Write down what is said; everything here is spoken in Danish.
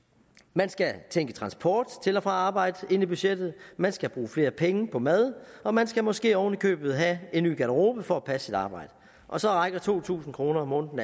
man skal tænke transport til og fra arbejde ind i budgettet man skal bruge flere penge på mad og man skal måske oven i købet have en ny garderobe for at passe sit arbejde og så rækker to tusind kroner om måneden